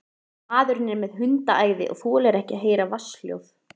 Maðurinn er með hundaæði og þolir ekki að heyra vatnshljóð.